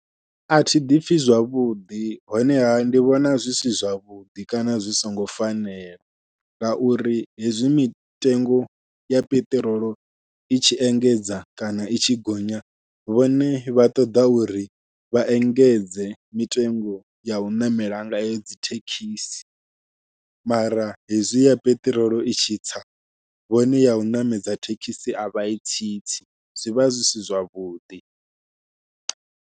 Athi ḓipfhi zwavhuḓi honeha ndi vhona zwi si zwavhuḓi kana zwi songo fanela, ngauri hezwi mitengo ya peṱirolo i tshi engedza kana i tshi gonya vhone vha ṱoḓa uri vha engedze mitengo yau ṋamela ngayo dzi thekhisi, mara hezwi ya peṱirolo i tshi tsa vhone yau ṋamedza thekhisi avha yi tsitsi zwivha zwi si zwavhuḓi.